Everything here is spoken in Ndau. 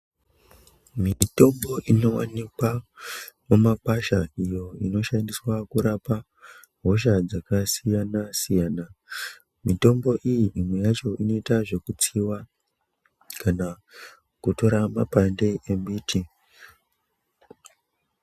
Mitombo inowanikwa mumakwasha iyo inoshandiswa kurapa hosha dzakasiyana siyana mitombo iyi imwe yacho inoita zvekutsiwa kana kutora mapande emiti.